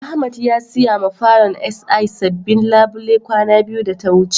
Ahmed ya siya ma falon SI sabobin labule kwana biyu da ta wuce.